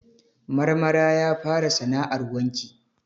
Marmara ya fara sana'ar wanki.